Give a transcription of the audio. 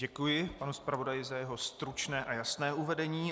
Děkuji panu zpravodaji za jeho stručné a jasné uvedení.